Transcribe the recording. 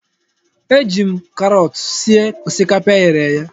Eji m karọọt sie osikapa eghere eghe.